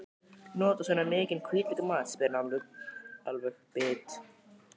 Notarðu svona mikinn hvítlauk í mat, spyr hann alveg bit.